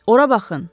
Ora baxın.